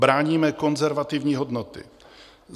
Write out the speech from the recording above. Bráníme konzervativní hodnoty.